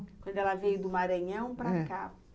Quando ela veio do Maranhão para cá.